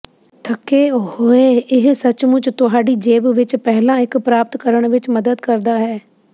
ਥੱਕੇ ਹੋਏ ਇਹ ਸੱਚਮੁੱਚ ਤੁਹਾਡੀ ਜੇਬ ਵਿਚ ਪਹਿਲਾਂ ਇਕ ਪ੍ਰਾਪਤ ਕਰਨ ਵਿਚ ਮਦਦ ਕਰਦਾ ਹੈ